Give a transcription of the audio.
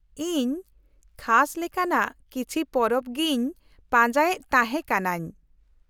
-ᱤᱧ ᱠᱷᱟᱥ ᱞᱮᱠᱟᱱᱟᱜ ᱠᱤᱪᱷᱤ ᱯᱚᱨᱚᱵ ᱜᱤᱧ ᱯᱟᱸᱡᱟᱭᱮᱫ ᱛᱟᱦᱮᱸ ᱠᱟᱹᱱᱟᱹᱧ ᱾